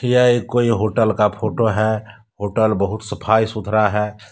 यह एक कोई होटल का फोटो है होटल बहुत सफाई सुथरा है।